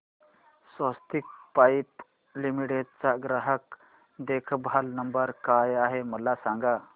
स्वस्तिक Pipe Limited चा ग्राहक देखभाल नंबर काय आहे मला सांगा